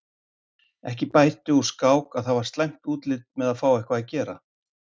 Ekki bætti úr skák að það var slæmt útlit með að fá eitthvað að gera.